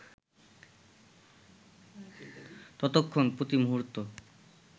ততক্ষণ, প্রতিমুহূর্ত